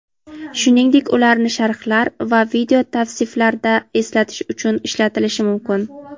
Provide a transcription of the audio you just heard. shuningdek ularni sharhlar va video tavsiflarida eslatish uchun ishlatilishi mumkin.